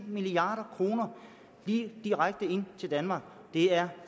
milliard kroner lige direkte ind til danmark det er